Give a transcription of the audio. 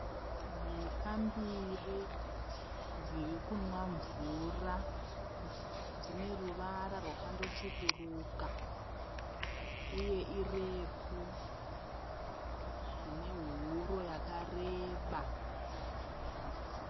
Mhuka mbiri dziri kumwa mvura. Dzine ruvara rwakando tsvukuruka uye irefu dzine huro yakareba.